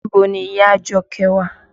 Níbo ni ìyá Àjọkẹ́ wà?